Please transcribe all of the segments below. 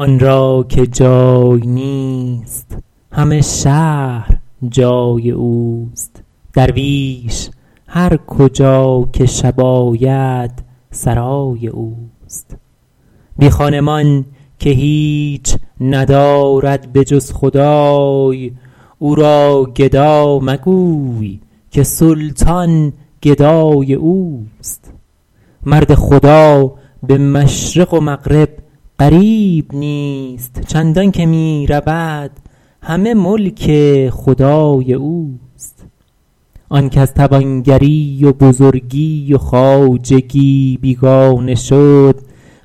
آن را که جای نیست همه شهر جای اوست درویش هر کجا که شب آید سرای اوست بی خانمان که هیچ ندارد به جز خدای او را گدا مگوی که سلطان گدای اوست مرد خدا به مشرق و مغرب غریب نیست چندان که می رود همه ملک خدای اوست آن کز توانگری و بزرگی و خواجگی بیگانه شد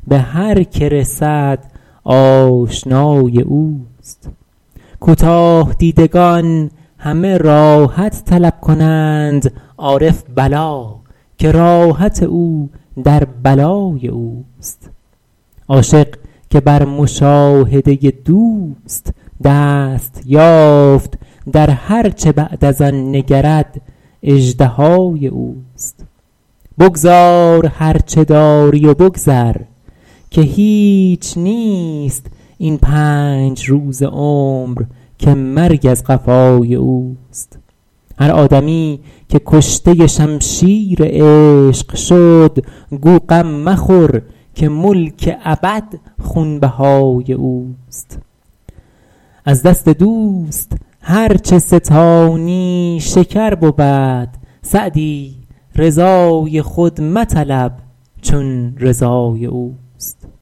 به هر که رسد آشنای اوست کوتاه دیدگان همه راحت طلب کنند عارف بلا که راحت او در بلای اوست عاشق که بر مشاهده دوست دست یافت در هر چه بعد از آن نگرد اژدهای اوست بگذار هر چه داری و بگذر که هیچ نیست این پنج روزه عمر که مرگ از قفای اوست هر آدمی که کشته شمشیر عشق شد گو غم مخور که ملک ابد خونبهای اوست از دست دوست هر چه ستانی شکر بود سعدی رضای خود مطلب چون رضای اوست